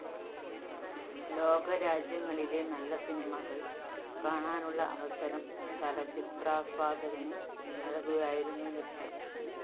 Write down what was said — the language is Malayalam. ലോകരാജ്യങ്ങളിലെ നല്ല സിനിമകള്‍ കാണാനുള്ള അവസരം ചലച്ചിത്രാസ്വാദകന് നല്‍കുകയായിരുന്നു ലക്ഷ്യം